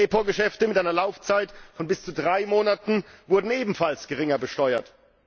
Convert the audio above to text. Reprogeschäfte mit einer Laufzeit von bis zu drei Monaten werden ebenfalls geringer besteuert.